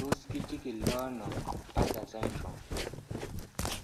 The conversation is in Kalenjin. Tos kichikildo ono Bartter syndrome?